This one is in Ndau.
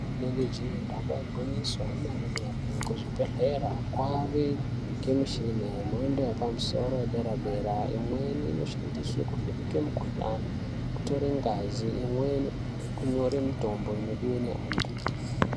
Rinenge je damba igwinyiso remene mene kuzvibhedhlera kwakuwanikwa mishina yemhando yepamusoro yedera dera imweni inoshandiswa kuvheneka mukuhlani kutora ngazi imweni kutora mitombo inodiwa nevantu.